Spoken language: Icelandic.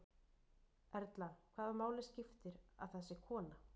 Erla: Hvaða máli skiptir að það sé kona?